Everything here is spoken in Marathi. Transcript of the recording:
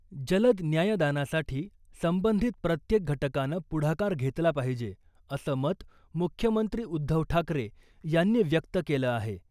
जलद न्यायदानासाठी संबंधित प्रत्येक घटकानं पुढाकार घेतला पाहिजे , असं मत मुख्यमंत्री उद्धव ठाकरे यांनी व्यक्त केलं आहे.